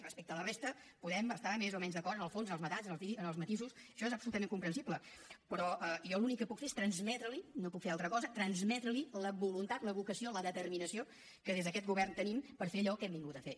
respecte a la resta podem estar més o menys d’acord en el fons en els matisos això és absolutament comprensible però jo l’únic que puc fer és transmetre li no puc fer altra cosa transmetre li la voluntat la vocació la determinació que des d’aquest govern tenim per fer allò que hem vingut a fer